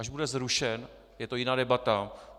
Až bude zrušen, je to jiná debata.